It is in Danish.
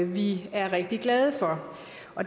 vi er rigtig glade for